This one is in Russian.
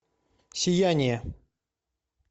сияние